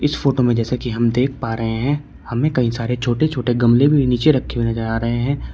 इस फोटो में जैसे कि हम देख पा रहे हैं हमें कई सारे छोटे छोटे गमले भी नीचे रखे हुए नजर आ रहे हैं।